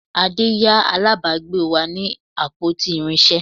Ade yá alábàgbe wa ní àpótí irinsé